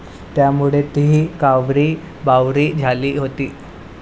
त्यामुळे ती कावरीबावरी झाली होती.